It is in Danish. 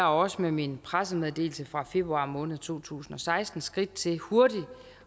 også med min pressemeddelelse fra februar måned to tusind og seksten skridt til hurtigt